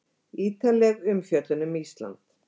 Ítarleg umfjöllun um Ísland